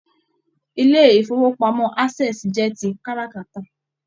Ilé ifowopamọ Access jẹ tí káràkátà.